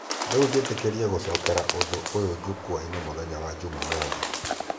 Rĩu njetereire gũcokera ũndũ ũyo jukwa-inĩ mũthenya wa jumamothi.